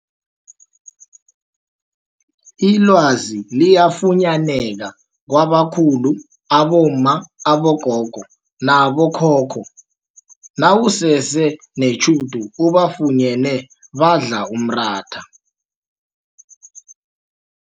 Ilwazi liyafunyaneka kwabakhulu abomma, abogogo nabo khokho nawusese netjhudu ubafunyene badla umratha.